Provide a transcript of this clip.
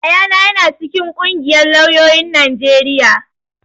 Yayana ya na cikin ƙungiyar lauyoyin Najeriya